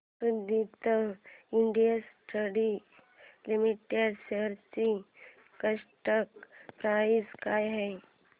Suditi industries limited shares ची current price काय आहे